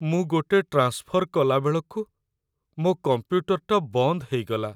ମୁଁ ଗୋଟେ ଟ୍ରାନ୍ସଫର୍ କଲା ବେଳକୁ ମୋ' କମ୍ପ୍ୟୁଟରଟା ବନ୍ଦ ହେଇଗଲା ।